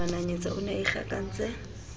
mananyetsa o ne a ikgakantse